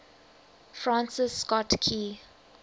francis scott key